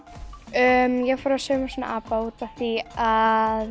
ég fór að sauma svona apa út af því að